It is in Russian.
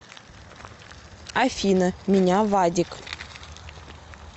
афина меня вадик